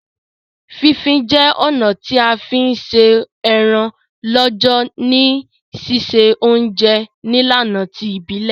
Fí fin je ọ̀nà ti a fi n se eran lọ́jọ̀ ni sise ounje nílànà ti ìbílẹ̀